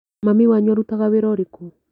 Mami wanyu arutaga wĩra ũrĩkũ?